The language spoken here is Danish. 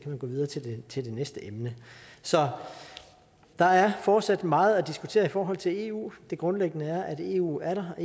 man gå videre til til det næste emne så der er fortsat meget at diskutere i forhold til eu det grundlæggende er at eu er der og